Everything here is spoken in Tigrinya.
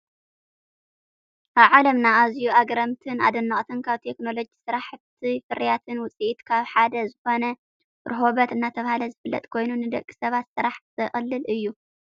ኣብ ዓለምና ኣዝዮም ኣገረምትን ኣደነቅትን ካብ ቴክኖሎጂ ስራሕት ፍርያት ውፅኢት ካብ ሓደ ዝኮነ ሮሀበት እናተባህለ ዝፍለጥ ኮይኑ ንደቂ ሰባት ስራሕ ዘቅልል እዩ።